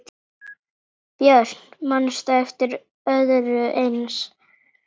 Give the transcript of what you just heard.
Björn: Manstu eftir öðru eins?